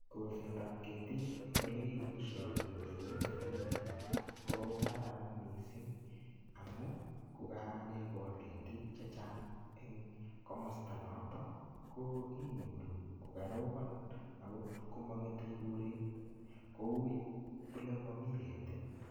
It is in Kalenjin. Kolsetab ketik eng ole kikong'isoigen imite mlimet, ko kararan missing. Amu kokakekol ketik chechang eng komasta noton, ko inyoru kokarobon. Ako komang'ete koret kou ole mamii ketin.